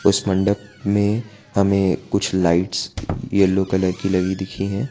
उस मंडप में हमें कुछ लाइट्स येलो कलर की लगी दिखी है।